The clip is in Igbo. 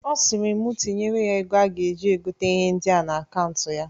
Ọ sịrị mu tinyere ya ego a ga-eji gota ihe ndịa n'akaụnt ya.